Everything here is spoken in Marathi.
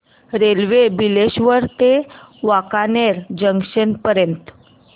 रेल्वे बिलेश्वर ते वांकानेर जंक्शन पर्यंत